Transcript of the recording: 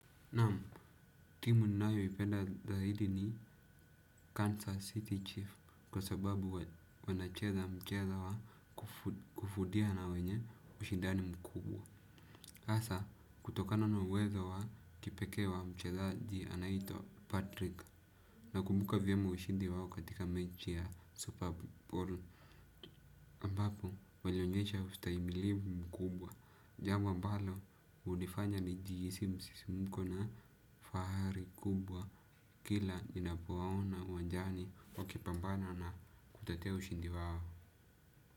Naam. Timu ninayoipenda zaidi ni Kansas City Chief kwa sababu wanacheza mchezo wa kufudia na wenye ushindani mkubwa asa kutokana na uwezo wa kipekee wa mchezaji anaitwa Patrick nakumbuka vyema ushindi wao katika mechi ya Super Bowl Ambapo walionyesha ustaimilivu mkubwa jambo ambalo unifanya nijihisi msisimko na fahari kubwa kila ninapowaona uwanjani wakipambana na kutetea ushindi wao.